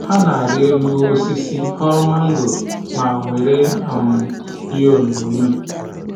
Ha na-arị elu osisi, ghọrọ mangoro ma gwere um ihe onyoghonyoo